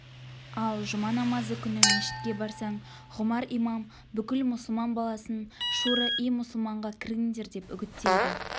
ал жұма намазы күні мешітке барсаң ғұмар имам бүкіл мұсылман баласын шуро-и-мұсылманға кіріңдер деп үгіттейді